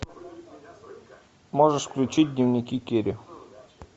можешь включить дневники кэрри